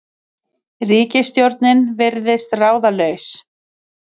Ríkisstjórnin virðist ráðalaus